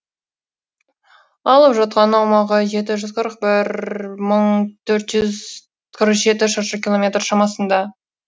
алып жатқан аумағы жеті жүз қырық бір мың төрт жүз қырық жеті шаршы километр шамасында